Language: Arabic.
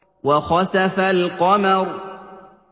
وَخَسَفَ الْقَمَرُ